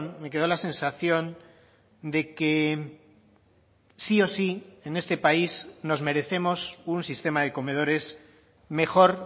me quedó la sensación de que sí o sí en este país nos merecemos un sistema de comedores mejor